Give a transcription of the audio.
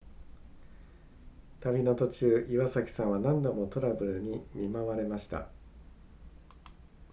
旅の途中岩崎さんは何度もトラブルに見舞われました